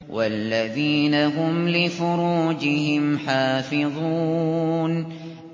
وَالَّذِينَ هُمْ لِفُرُوجِهِمْ حَافِظُونَ